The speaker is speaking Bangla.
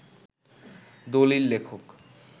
দলিল লেখক